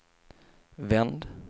vänd